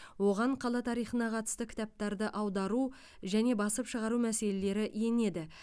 оған қала тарихына қатысты кітаптарды аудару және басып шығару мәселелері енеді